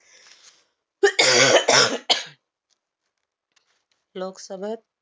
लोकसभेत